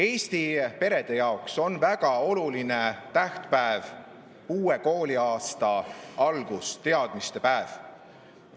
Eesti perede jaoks on väga oluline tähtpäev uue kooliaasta algus, teadmistepäev.